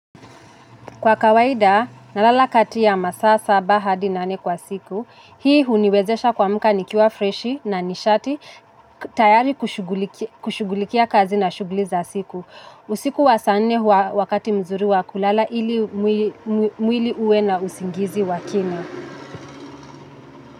Kwa kawaida, nalala kati ya masaa saba hadi nane kwa siku, hii huniwezesha kuamka nikiwa freshi na nishati tayari kushugulikia kazi na shuguli za siku. Usiku wa saa nne huwa wakati mzuri wa kulala ili mwili uwe na usingizi wa kina.